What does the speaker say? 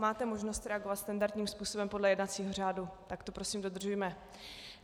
Máte možnost reagovat standardním způsobem podle jednacího řádu, tak to prosím dodržujme.